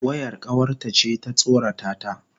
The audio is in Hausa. Wayar kawarta ce ta tsorata ta.